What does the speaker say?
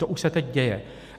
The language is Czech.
To už se teď děje.